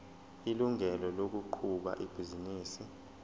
ilungelo lokuqhuba ibhizinisi